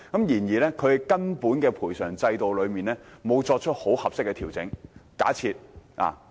然而，本港的賠償制度並沒有作出合適的根本性調整。